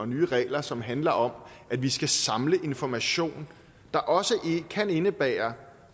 nye regler som handler om at vi skal samle information der også kan indebære